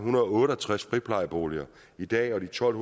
otte og tres friplejeboliger i dag og de tolv